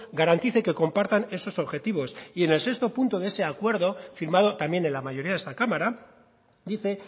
garantice que compartan esos objetivos y en el sexto punto de ese acuerdo firmado también en la mayoría de esta cámara dice